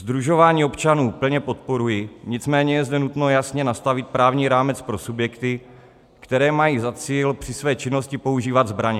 Sdružování občanů plně podporuji, nicméně je zde nutno jasně nastavit právní rámec pro subjekty, které mají za cíl při své činnosti používat zbraně.